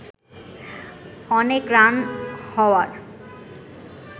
অনেক রান হওয়ার